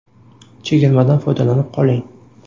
Chegirmadan foydalanib qoling!